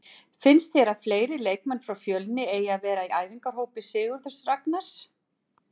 Finnst þér að fleiri leikmenn frá Fjölni eigi að vera í æfingahópi Sigurðs Ragnars?